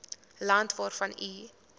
land waarvan u